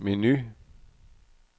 menu